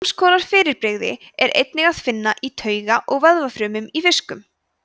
sams konar fyrirbrigði er einnig að finna í tauga og vöðvafrumum í fiskum